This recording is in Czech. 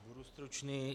Budu stručný.